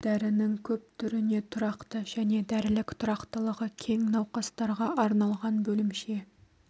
дәрінің көп түріне тұрақты және дәрілік тұрақтылығы кең науқастарға арналған бөлімше